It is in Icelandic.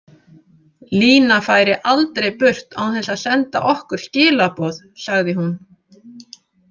Lína færi aldrei burt án þess að senda okkur skilaboð, sagði hún.